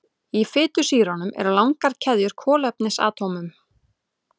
Í fitusýrunum eru langar keðjur kolefnisatómum.